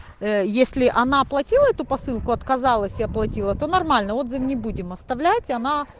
если она платила эту посылку отказалась я оплатила то нормально отзыв не будем оставлять она